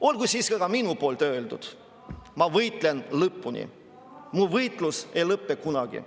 Olgu siis ka minu poolt öeldud: ma võitlen lõpuni, mu võitlus ei lõpe kunagi.